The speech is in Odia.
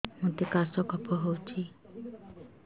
ମୋତେ କାଶ କଫ ହଉଚି